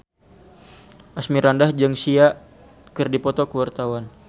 Asmirandah jeung Sia keur dipoto ku wartawan